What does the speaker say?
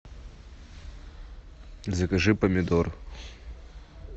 закажи помидор